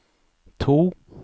to